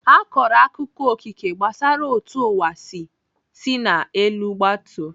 Akọrọ akụkọ Okike gbasara otú ụwa si sina n'elu gbatuo.